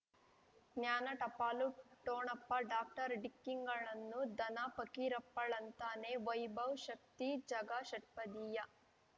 ಜ್ಞಾನ ಟಪಾಲು ಠೊಣಪ ಡಾಕ್ಟರ್ ಢಿಕ್ಕಿ ಣಗಳನು ಧನ ಫಕೀರಪ್ಪ ಳಂತಾನೆ ವೈಭವ್ ಶಕ್ತಿ ಝಗಾ ಷಟ್ಪದಿಯ